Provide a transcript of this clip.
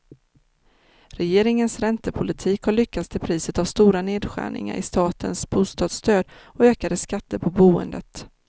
Regeringens räntepolitik har lyckats till priset av stora nedskärningar i statens bostadsstöd och ökade skatter på boendet.